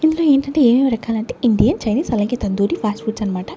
ఇందులో ఏంటంటే ఏమేమ్ రకాలంటే ఇండియన్ చైనీస్ అలాగే తందూరి ఫాస్ట్ ఫుడ్స్ అన మాట.